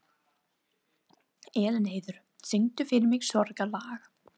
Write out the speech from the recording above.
Elínheiður, syngdu fyrir mig „Sorgarlag“.